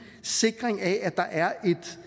sikring af at der er